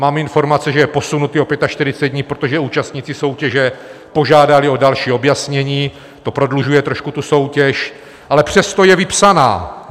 Mám informace, že je posunutý o 45 dní, protože účastníci soutěže požádali o další objasnění, to prodlužuje trošku tu soutěž, ale přesto je vypsána.